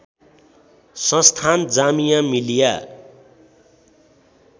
संस्थान जामिया मिलिया